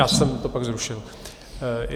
Já jsem to pak zrušil.